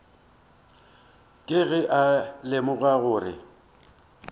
ke ge a lemoga gore